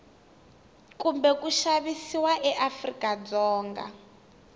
kumbe ku xavisiwa eafrika dzonga